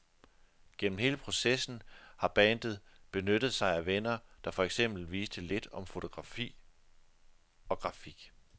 Gennem hele processen har bandet benyttet sig af venner, der for eksempel viste lidt om fotografi og grafik.